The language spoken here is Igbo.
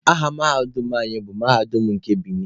Aha mahadum anyị bụ Mahadum nke Binin.